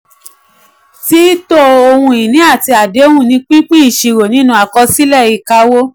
tííto ohun ìní àti àdéhùn ni pípín ìṣirò nínú àkọsílẹ̀ ìkáwó.